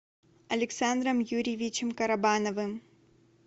александром юрьевичем карабановым